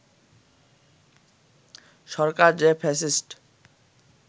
সরকার যে ফ্যাসিস্ট